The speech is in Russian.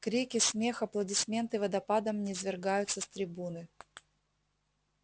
крики смех аплодисменты водопадом низвергаются с трибуны